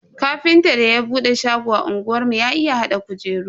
Ƙafintan da ya bude shago a unguwar mu ya iya hada kujeru.